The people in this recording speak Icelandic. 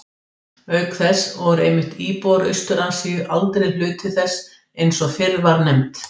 Auk þess voru einmitt íbúar Austur-Asíu aldrei hluti þess eins og fyrr var nefnt.